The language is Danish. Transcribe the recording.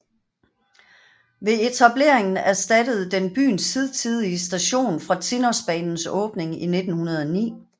Ved etableringen erstattede den byens hidtidige station fra Tinnosbanens åbning i 1909